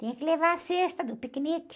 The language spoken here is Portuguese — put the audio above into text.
Tinha que levar a cesta do piquenique.